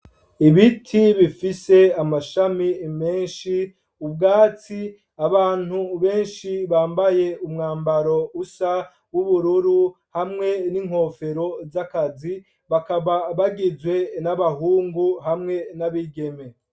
Ibiti bifise amashami menshi ,ubwatsi, abantu benshi bambaye umwambaro usa w’ubururu hamwe n’inkofero zakazi bakaba bagizwe n’abahungu hamwe n’abigeme.